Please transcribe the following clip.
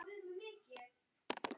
Skotin voru ansi mörg.